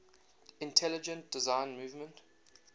intelligent design movement